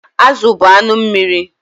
Azụ bụ anụ mmiri.